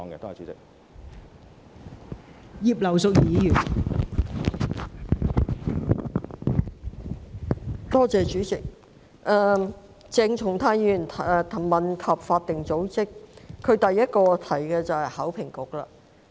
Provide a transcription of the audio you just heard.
代理主席，鄭松泰議員問及法定組織，他在主體質詢中第一個提到的機構就是考評局。